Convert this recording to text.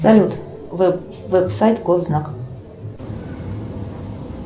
салют веб сайт госзнак